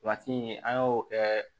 in an y'o kɛ